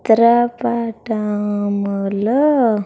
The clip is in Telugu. చిత్ర పటములో.